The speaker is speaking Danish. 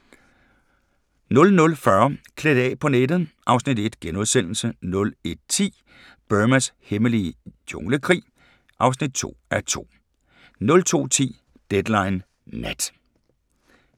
00:40: Klædt af på nettet (Afs. 1)* 01:10: Burmas hemmelige junglekrig (2:2) 02:10: Deadline Nat